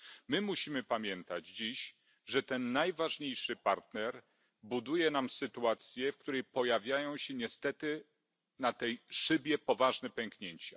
My musimy pamiętać dziś, że ten najważniejszy partner buduje nam sytuację, w której pojawiają się niestety na tej szybie poważne pęknięcia.